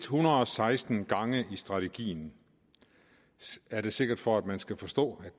hundrede og seksten gange i strategien er det sikkert for at man skal forstå